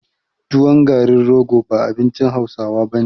Tuwon garin rogo ba abincin hausawa bane